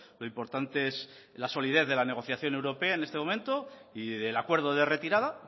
lo importante es la solidez de la negociación europea en este momento y del acuerdo de retirada